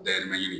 Dayɛlɛ man ɲi